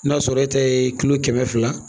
N'a sɔrɔ e ta ye kilo kɛmɛ fila